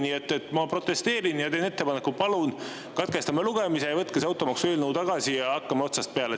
Nii et ma protesteerin ja teen ettepaneku: palun katkestame lugemise, võtke see automaksueelnõu tagasi ja hakkame otsast peale.